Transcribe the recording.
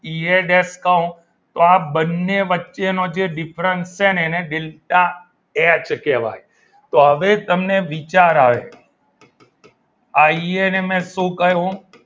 ઈ યે દેશ કવ તો આ બંને વચ્ચેનો જે different છે એને delta એચ કહેવાય તો હવે તમને વિચાર આવ્યો આઈ એને મેં શું કહ્યું?